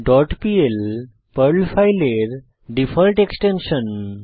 dot PL হল Perl ফাইলের default extension